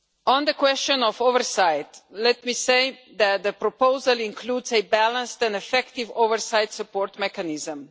On the question of oversight, let me say that the proposal includes a balanced and effective oversight support mechanism.